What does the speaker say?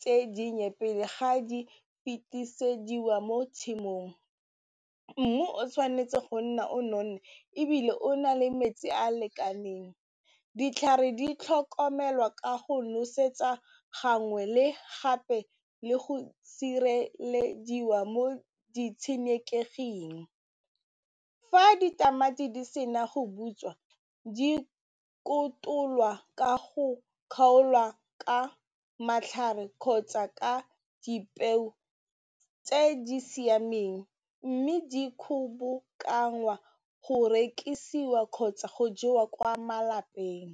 tse dinnye pele ga di fetisediwa mo tshimong, mmu o tshwanetse go nna o nonne ebile o na le metsi a lekaneng ditlhare di tlhokomelwa ka go nosetsa gangwe le gape le go sirelediwa mo ditshenekeging fa ditamati di se na go butswa di kotolwa ka go kgaolwa ka matlhare kgotsa ka dipeo tse di siameng mme di kgobokangwa go rekisiwa kgotsa go jewa kwa malapeng.